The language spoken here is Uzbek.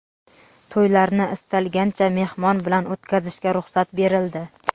to‘ylarni istalgancha mehmon bilan o‘tkazishga ruxsat berildi.